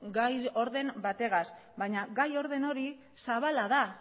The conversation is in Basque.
gai orden batekin baina gai orden hori zabala da